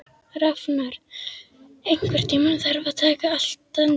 Rafnar, einhvern tímann þarf allt að taka enda.